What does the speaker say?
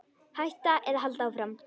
Hætta eða halda áfram?